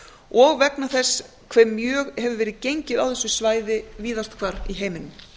og vegna þess hve mjög hefur verið gengið á þessi svæði víðast hvar í heiminum